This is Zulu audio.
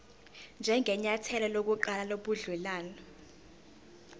njengenyathelo lokuqala lobudelwane